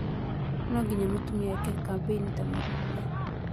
No nginya mũtumia eke kambĩni ta mũndũrũme